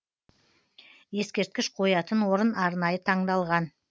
ескерткіш қоятын орын арнайы таңдалған